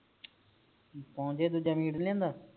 ਪੌਚੇ ਦੂਜਾ ਮੀਟ ਨੀ ਲਿਆਂਦਾ